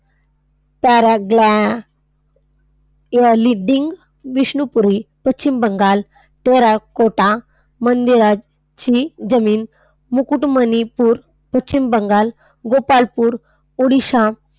पॅराग्ला leading Vishnupuri Paschim Bangal terracotta मंदिराची जमीन मुकुटमणिपूर पश्चिम बंगाल, गोपालपूर उडीसा,